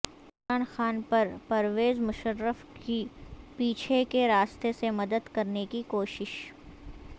عمران خان پرپرویز مشرف کی پیچھے کے راستے سے مدد کرنے کی کوشش